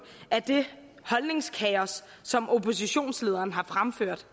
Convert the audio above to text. af det holdningskaos som oppositionslederen har fremført